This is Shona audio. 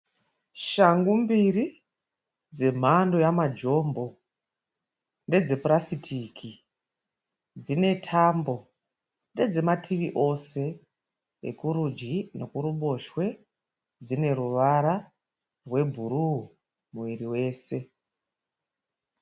Shangu mbiri dzemhando yemajombo. Ndedzepurasitiki dzine tambo. Ndedzemativi ose ekuruji nekuruboshwe, dzine ruvara rwebhuru muviri wese.